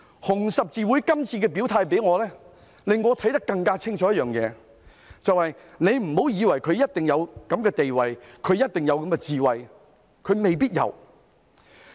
紅十字會今次的表態令我看得更加清楚一件事，就是不要以為有一定地位便有一定的智慧，其實未必如此。